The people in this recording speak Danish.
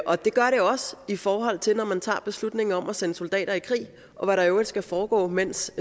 og det gør det også i forhold til når man tager beslutninger om at sende soldater i krig og hvad der i øvrigt skal foregå mens